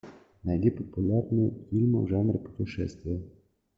найди популярные фильмы в жанре путешествия